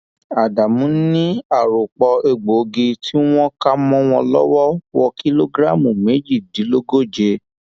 ádámù ni àròpọ egbòogi tí wọn kà mọ wọn lọwọ wo kìlógíráàmù méjìdínlógóje